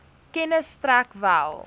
kennis strek wel